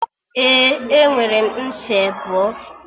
Ee, enwere m ntị ebọ